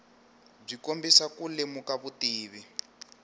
byi kombisa ku lemuka vutivi